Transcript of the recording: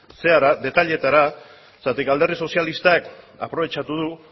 detaileetara zeren alderdi sozialistak aprobetxatu du